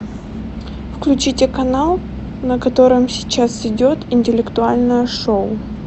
включите канал на котором сейчас идет интеллектуальное шоу